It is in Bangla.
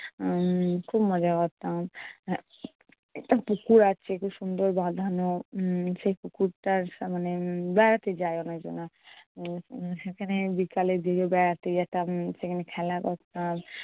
উম খুব মজা করতাম। একটা পুকুর আছে খুব সুন্দর বাঁধানো। উম সেই পুকুরটার মানে বেড়াতে যায় অনেক জনা উম সেখানে বিকালের দিকে বেড়াতে যেতাম সেখানে খেলা করতাম।